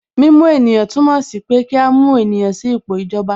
Mímú ènìyàn túmọ̀ sí pé kí a mú ènìyàn sí ipò ìjọba